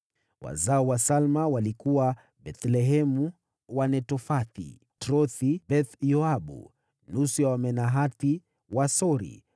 Wazao wa Salma walikuwa: Bethlehemu, Wanetofathi, Atroth-Beth-Yoabu, nusu ya Wamanahathi, Wasori,